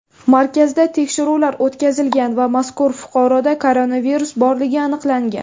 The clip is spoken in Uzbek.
Markazda tekshiruvlar o‘tkazilgan va mazkur fuqaroda koronavirus borligi aniqlangan.